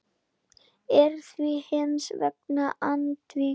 er því hins vegar andvíg.